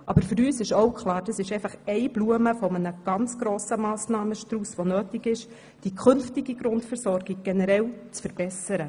Aber für uns ist auch klar, dass dies nur Blume eines ganz grossen, notwendigen Massnahmenstrausses ist, um die künftige Grundversorgung generell zu verbessern.